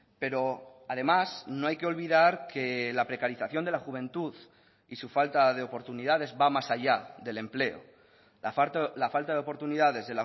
pero además no hay que olvidar que la precarización de la juventud y su falta de oportunidades va más allá del empleo la falta de oportunidades